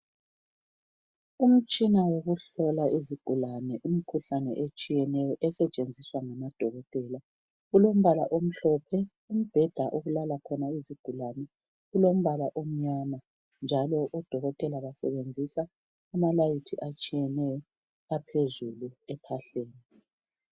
Umtshina wokuhlola izigulane imikhuhlane etshiyeneyo esetshenziswa ngamadokotela ulombala omhlophe. Umbheda okulala khona izigulane ulombala omnyama. Njalo odokotela besebenzisa amalayithi atshiyeneyo aphezulu ephahleni.